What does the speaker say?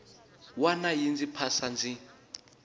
wana yi ndzi phasa ndzi